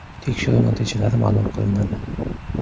Tekshiruv natijalari ma’lum qilinadi.